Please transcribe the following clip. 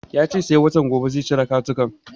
Ya ce sai watan gobe zai cire katakon